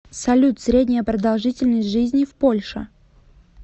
салют средняя продолжительность жизни в польша